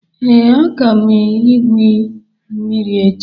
Ee, aga m aga igwu mmiri echi